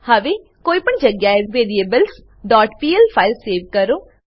હવે કોઈ પણ જગ્યાએ variablesપીએલ ફાઈલ સેવ કરો